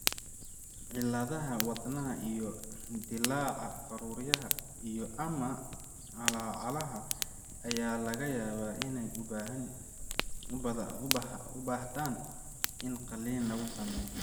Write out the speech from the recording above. Cilladaha wadnaha iyo dillaaca faruuryaha iyo/ama calaacalaha ayaa laga yaabaa inay u baahdaan in qaliin lagu sameeyo.